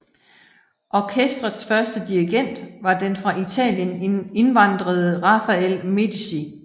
Orkestrets første dirigent var den fra Italien indvandrede Rafael Medici